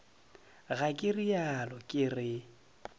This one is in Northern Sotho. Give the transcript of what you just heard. ga ke realo ke re